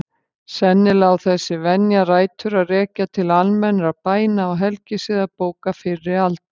Sennilega á þessi venja rætur að rekja til almennra bæna- og helgisiðabóka fyrri alda.